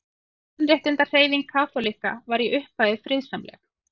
Mannréttindahreyfing kaþólikka var í upphafi friðsamleg.